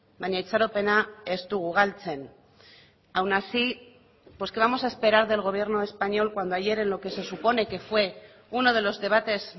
baina itxaropena ez dugu galtzen aun así pues qué vamos a esperar del gobierno español cuando ayer en lo que se supone que fue uno de los debates